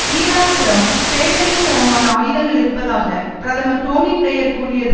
ஈராக்கிடம் பேரழிவுகரமான ஆயுதங்கள் இருப்பதாக பிரதமர் டோனி பிளேயர் கூறியது